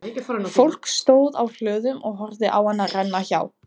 Fólk stóð á hlöðum og horfði á hana renna hjá.